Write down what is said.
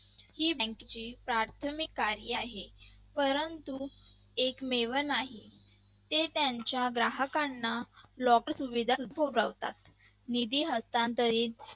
ही bank ची प्राथमिक कार्य आहे परंतु एकमेव नाही ते त्यांच्या ग्राहकांना लवकर सुविधा सुद्धा उपलब्ध करून देतात. निधी